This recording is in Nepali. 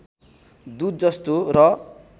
दुध जस्तो र